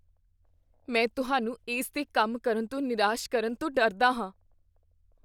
ਮੈਂ ਤੁਹਾਨੂੰ ਇਸ 'ਤੇ ਕੰਮ ਕਰਨ ਤੋਂ ਨਿਰਾਸ਼ ਕਰਨ ਤੋਂ ਡਰਦਾ ਹਾਂ।